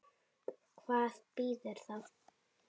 Hvar býrðu þá?